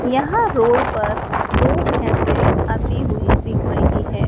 यहां रोड पर दो भैंसे आती हुई दिख रही है।